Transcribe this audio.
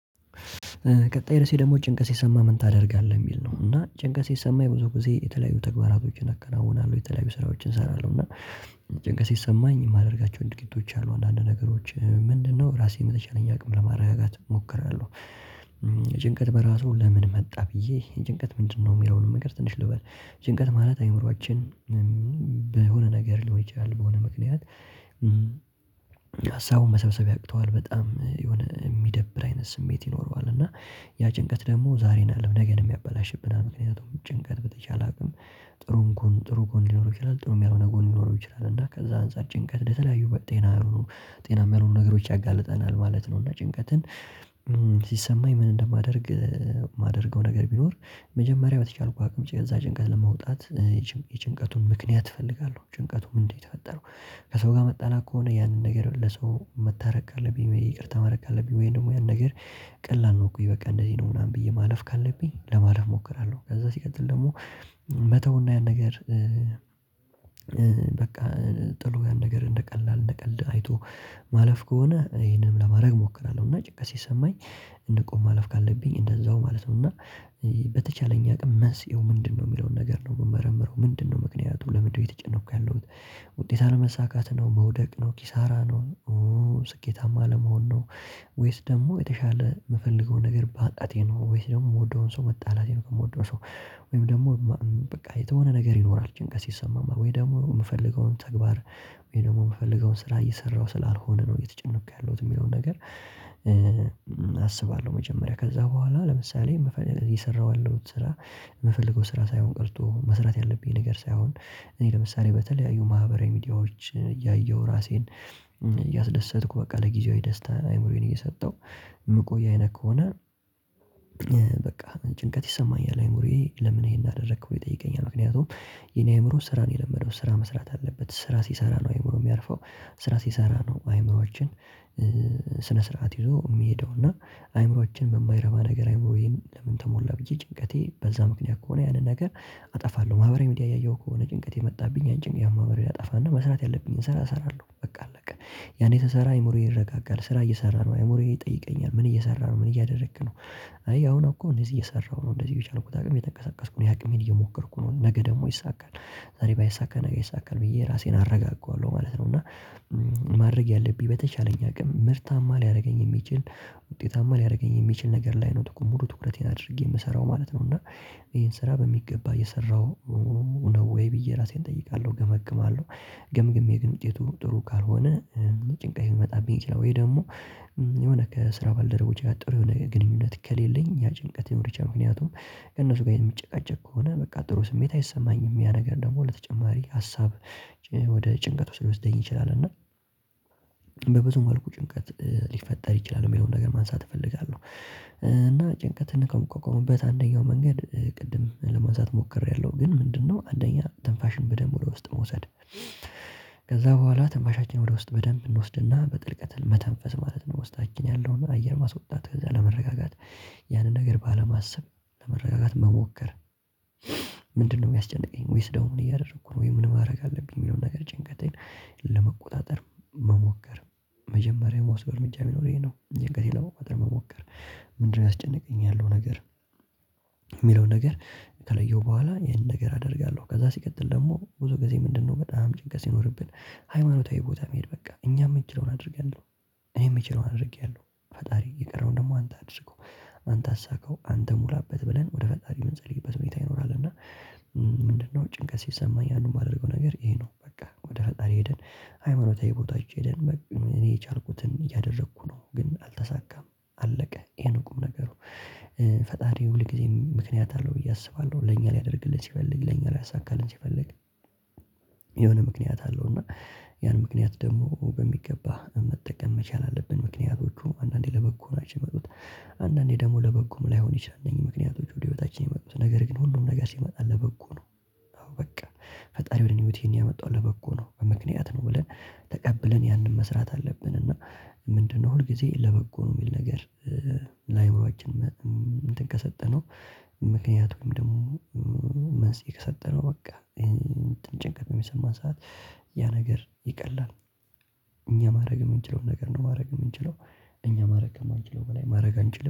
ቀጣይ ደስ ይለኛል ጭንቀት ሲሰማህ ምን ታደርጋለህ የሚል ነው? እና ጭንቀት ሲሰማኝ ብዙ ጊዜ የተለያዩ ተግባራቶችን አከናውናለሁ የተለያዩ ስራዎችን እሰራለሁ እና ጭንቀት ሰማኝ የማደርጋቸውን ድርጊቶች አሉ አንዳንድ ነገሮች ምንድነው ራሴን በተቻለኝ አቅም ለማረጋጋት እሞክራለሁ። ጭንቀት በራሱ ለምን መጣ ብዬ ጭንቀት ምንድነው የሚለውን ነገር ትንሽ ልበል። ጭንቀት ማለት አእምሮአችን በሆነ ነገር ሊሆን ይችላል በሆነ ምክንያት ሀሳቡን መሰብሰብ ያቅተዋል በጣም የሆነ የሚደብር አይነት ስሜት ይኖረዋል። እና ያ ጭንቀት ደግሞ ዛሬን አለም ነገር የሚያበላሽብን ምክንያቱም ጭንቀት በተቻለ አቅም ጥሩም ጥሩ ጎን ሊኖር ይችላል ጥሩም ያልሆነ ጎን ሊኖር ይችላል እና ከዛ አንፃር ጭንቀት ለተለያዩ ጤና አሉ ነው ጤናማ ያልሆኑ ነገሮች ያጋልጠናል ማለት ነው። እና ጭንቀትን ሲሰማኝ ምን እንደማደርግ የማደርገው ነገር ቢኖር መጀመሪያ በተቻልኩ አቅም ጭንቀት ለመውጣት ይቺን የጭንቀቱን ምክንያት እፈልጋለሁ ጭንቀቱም እንዴት የተፈጠረው? ከሰው ጋር መጣላት ከሆነ ያንን ነገር ለሰው መታረቅ ካለብኝ ይቅርታ ማረድረግ ካለብኝ ወይ ደግሞ ያን ነገር ቀላል ነው እኮ ይበቃ እንደዚህ ነው ምናምን ብዬ ማለፍ ካለብኝ ለማለፍ እሞክራለሁ። ከዛ ሲቀጥል ደግሞ መተውና ያን ነገር በቃ ጥሎ ጥሩ ጋር ነገር እንደቀላል እንደቀልድ አይቶ ማለፍ ከሆነ ይሄንንም ለማድረግ እሞክራለሁ። እና ጭቀት ሲሰማኝ ንቆ ማለፍ ካለብኝ እንደዛው ማለት ነው። እና በተቻለኝ አቅም መንስኤው ምንድነው የሚለውን ነገር ነው የምመረምረው ምንድነው ምክንያቱ ለምንድነው እየተጨነኩ ያለሁት ውጤት አለመሳካት ነው። መውደቅ ነው ኪሳራ ነው ስኬታማ ለመሆን ነው? ወይስ ደግሞ የተሻለ የምፈልገውን ነገር ማጣቴ ነው? ወይስ ደግሞ የምወደውን ሰው መጣላቴን የምወደው ሰው ወይም ደግሞ በቃ የተሆነ ነገር ይኖራል ጭንቀት ሲሰማም ወይ ደግሞ የምፈልገውን ተግባር ወይ ደግሞ የምፈልገውን ስራ እየሰራሁ ስላልሆነ ነው። እየተጨነቁ ያለሁት የሚለውን ነገር አስባለሁ መጀመሪያ ከዛ በኋላ ለምሳሌ የሰራው አለው ስራ የምፈልገው ስራ ሳይሆን ቀርቶ መስራት ያለብኝ ነገር ሳይሆን እኔ ለምሳሌ በተለያዩ ማህበራዊ ሚዲያዎች እያየሁ ራሴን እያስደሰትኩ በቃ ለጊዜው የደስታን አይምሮዬን እየሰጠው የምቆይ አይነት ከሆነ በቃ ጭንቀት ይሰማኛል። አእምሮዬ ለምን ይሄን አደረኩኝ ብሎ ይጠየቀኛል ምክንያቱም የኔ አይምሮ ስራ ነው የለመደው ስራ መስራት አለበት ስራ ሲሰራ ነው አይምሮ የሚያርፈው ስራ ሲሰራ ነው። አይምሮአችን ስነ ስርዓት ይዞ የሚሄደውና አይምሮአችን በማይረባ ነገር አይምሮዬን ለምን ተሞላ ብዬ ጭንቀቴ በዛ ምክንያት ከሆነ ያንን ነገር አጠፋለሁ። ማህበራዊ ሚዲያ እያየሁ ከሆነ ጭንቀት የመጣብኝ አንጭን ያን ማህበር ላጠፋና መስራት ያለብኝን ስራ እሰራለሁ በቃ አለቀ። ያኔ ተሰራ አይምሮዬን ይረጋጋል ስራ እየሰራ ነው አይምሮዬን ይጠይቀኛል ምን እየሰራ ነው ምን እያደረክ ነው? አይ አሁን እኮ እንደዚህ እየሰራሁ ነው እንደዚህ የቻልኩት አቅም የተንቀሳቀስኩ ነው የአቅም እየሞከርኩ ነው ነገ ደግሞ ይይሳካል ዛሬ ባይሳካ ነገር ይሳካል ብዬ ራሴን አረጋግገዋለሁ ማለት ነው። እና ማድረግ ያለብኝ በተቻለኝ አቅም ምርታማ ሊያደርገኝ የሚችል ውጤታማ ሊያደርገኝ የሚችል ነገር ላይ ነው እኮ ሙሉ ትኩረቴን አድርጌ የምሰራው ማለት ነው። እና ይሄን ስራ በሚገባ እየሰራሁ ነው ወይ ብዬ ራሴን እጠይቃለሁ እገመግማለሁ። ግምግም የግምጤ ጥሩ ጥሩ ካልሆነ ጭንቅ ይመጣብኝ ይችላል ወይ ደግሞ የሆነ ከስራ ባልደረቦች ጋር ጥሩ የሆነ ግንኙነት ከሌለኝ ያ ጭንቀት የመርጫ ምክንያቱም ከእነሱ ጋር የሚጨቃጨቅ ከሆነ በቃ ጥሩ ስሜት አይሰማኝም ያ ነገር ደግሞ ለተጨማሪ ሀሳብ ወደ ጭንቀት ውስጥ ሊወስደኝ ይችላል። እና በብዙ መልኩ ጭንቀት ሊፈጠር ይችላል የሚለውን ነገር ማንሳት እፈልጋለሁ። እና ጭንቀትን ከምቆቀሙበት አንደኛው መንገድ ቅድም ለመውሰድ ሞክሬያለሁ ግን ምንድነው አንደኛ ትንፋሽን በደንብ ወደ ውስጥ መውሰድ ከዛ በኋላ ትንፋሻችን ወደ ውስጥ በደንብ እንወስድና በጥልቀት መተንፈስ ማለት ነው። ውስጣችን ያለውን አየር ማስወጣት ከዛ ለመረጋጋት ያንን ነገር ባለማሰብ ለመረጋጋት መሞከር። ምንድነው የሚያስጨንቀኝ ወይስ ደግሞ ምን እያደረኩ ነው ወይ ምን ማድረግ አለብኝ የሚለውን ነገር ጭንቀቴን ለመቆጣጠር መሞከር መጀመሪያ ምወስደው እርምጃ ቢኖር ይሄ ነው። መሞከር ምንድነው ያስጨነቀኝ ያለው ነገር የሚለውን ነገር ከለየው በኋላ ይሄንን ነገር አደርጋለሁ። ከዛ ሲቀጥል ደግሞ ብዙ ጊዜ ምንድነው በጣም ጭንቀት ሲኖርብን ሃይማኖታዊ ቦታ መሄድ በቃ እኛም የምንችለውን አድርገን እኔም እኔ የምችለው አድርጌያለሁ ፈጣሪ የቀረውን ደግሞ አንተ አድርገው አንተ አሳካው አንተ ሙላበት ብለን ወደ ፈጣሪው እንጸልይበት ሁኔታ ይኖራል። እና ምንድነው ጭንቀት ሲሰማኝ ያንን የማደርገው ነገር ይሄ ነው በቃ ወደ ፈጣሪ ሄደን ሃይማኖታዊ ቦታዎች ሄደን እኔ የቻልኩትን እያደረኩ ነው ግን አልተሳካም። አለቀ ይሄን ቁም ነገሩ ፈጣሪ ሁል ጊዜ ምክንያት አለው ብዬ አስባለሁ ለኛ ሊያደርግልን ሲፈልግ ለኛ ሊያሳካልን ሲፈልግ የሆነ ምክንያት አለው። እና ያን ምክንያት ደግሞ በሚገባ መጠቀም መቻል አለብን ምክንያቶቹ አንዳንዴ ለበጎ ናቸው የመጡት አንዳንዴ ደግሞ ለበጎም ላይሆን ይችላል። እነዚህ ምክንያቶች ወደ ህይወታችን የመጡት ነገር ግን ሁሉም ነገር ሲመጣ ለበጎ ነው። አዎ በቃ ፈጣሪ ወደ እኔ ህይወት የሚያመጣው ነው ለበጎ ነው ምክንያት ነው ብለን ተቀብለን ያንን መስራት አለብን። እና ምንድነው ሁል ጊዜ ለበጎ ነው የሚል ነገር ለአእምሮአችን እንትን ከሰጠነው ምክንያቱም ደግሞ መንስኤ ከሰጠነው በቃ ይሄን ጭንቀት በሚሰማን ሰዓት ያ ነገር ይቀላል። እኛ ማድረግ የምንችለው ነገር ነው ማድረግ የምንችለው እኛ ማድረግ ከምንችለው በላይ ማድረግ አንችልም